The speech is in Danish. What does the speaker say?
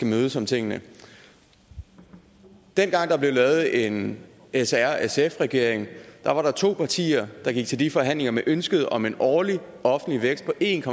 mødes om tingene dengang der blev lavet en s r sf regering var der to partier der gik til de forhandlinger med ønsket om en årlig offentlig vækst på en